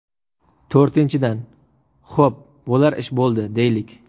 To‘rtinchidan , xo‘p, bo‘lar ish bo‘ldi, deylik.